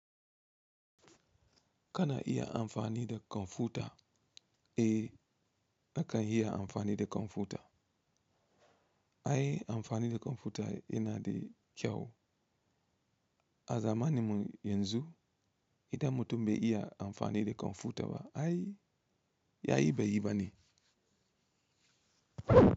Kana iya amfani da kwamfuta? Eh nakan iya amfani da kwamfuta. Ai amfani da kwamfuta yana da kyau. A zamaninmu yanzu idan mutum bai iya amfani da kwamfuta ba ai ya yi bai yi bane.